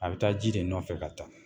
A bɛ taa ji de nɔfɛ ka ta.